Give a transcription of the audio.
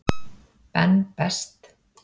Ben Best.